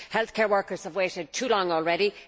Healthcare workers have waited too long already